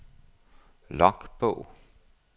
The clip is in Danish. logbog